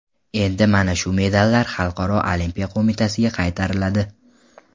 Endi mana shu medallar Xalqaro olimpiya qo‘mitasiga qaytariladi.